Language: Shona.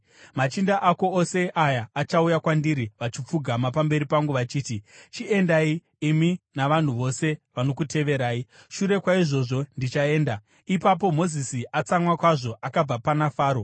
Machinda ako ose aya achauya kwandiri, vachipfugama pamberi pangu vachiti, ‘Chiendai, imi navanhu vose vanokuteverai!’ Shure kwaizvozvo ndichaenda.” Ipapo Mozisi, atsamwa kwazvo, akabva pana Faro.